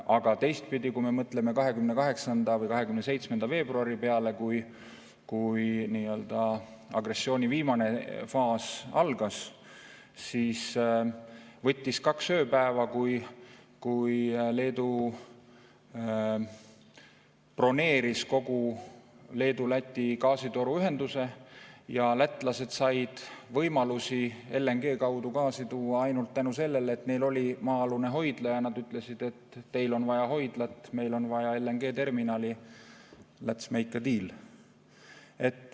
Aga teistpidi, kui me mõtleme 27. või 28. veebruari peale, kui agressiooni viimane faas algas, siis võttis kaks ööpäeva, kui Leedu broneeris kogu Leedu–Läti gaasitoruühenduse ja lätlased said võimaluse LNG kaudu gaasi tuua ainult tänu sellele, et neil oli maa-alune hoidla ja nad ütlesid, et teil on vaja hoidlat, meil on vaja LNG-terminali, lets make a deal.